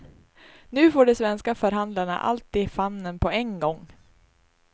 Nu får de svenska förhandlarna allt i famnen på en gång.